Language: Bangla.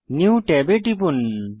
নিউ ট্যাবে টিপুন